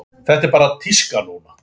Þetta er bara tíska núna.